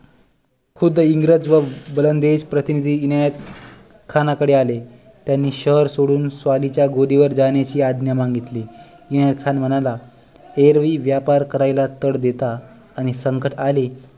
खुद्द इंग्रज व वलंदेज प्रतिनिधि इनायत खाना कडे आले त्यांनी शहर सोडून स्वाली च्या गोदी वर जाण्याची आज्ञा मागितली इनायत खान म्हणाला एरवी व्यापार करायला कर देता आणि संकट आले